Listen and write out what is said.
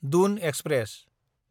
Doon express